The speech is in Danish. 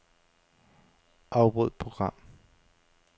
Afbryd program.